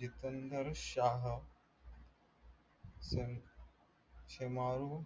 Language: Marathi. जितंदर शाह shemaroo